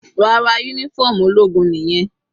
Rárá, uniform ológun nìyẹn.